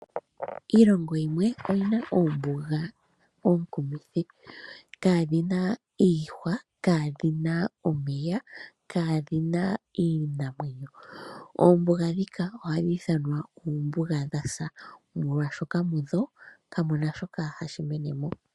Iilongo yimwe oyina oombuga oonkumithi, kaadhina iihwa, kaadhina omeya, kaadhina iinamwenyo. Oombuga ndhika ohadhi ithanwa oombuga dha sa, molwashoka mudho kamu na shoka hashi mene mo.